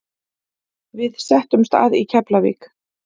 Við settumst að í Keflavík.